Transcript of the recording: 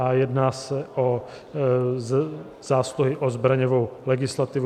A jedná se o zásluhy o zbraňovou legislativu.